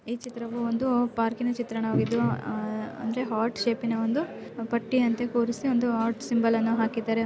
ಈ ಚಿತವು ಒಂದು ಪಾರ್ಕಿನ ಚಿತ್ರಣವಾಗಿದ್ದುಅಹ್ ಅಂದರೆ ಹಾರ್ಟ್ ಶೇಪ್ನ ಇಂದು ಪಟ್ಟಿ ಅಂತೆ ಕೂರಿಸಿ ಒಂದು ಹಾರ್ಟ್ ಸಿಂಬಲ್ ಅನ್ನು ಹಾಕ್ಕಿದ್ದಾರೆ.